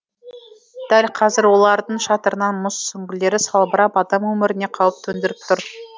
дәл қазір олардың шатырынан мұз сүңгілері салбырап адам өміріне қауіп төндіріп тұр